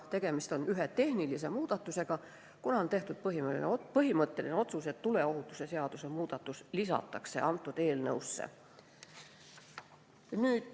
Tegemist on ühe tehnilise muudatusega, kuna on tehtud põhimõtteline otsus, et tuleohutuse seaduse muudatus lisatakse sellesse eelnõusse.